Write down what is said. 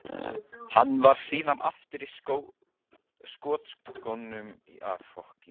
Hann var síðan aftur á skotskónum í dag í sínum öðrum landsleik.